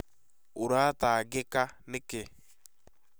ũratangĩka nĩkĩ?